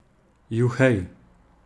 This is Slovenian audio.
Juhej!